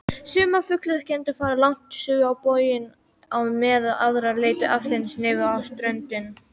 Sumar fuglategundir fara langt suður á boginn á meðan aðrar leita aðeins niður á ströndina.